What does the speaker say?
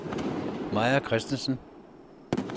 Maja Kristensen